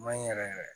Maɲi yɛrɛ yɛrɛ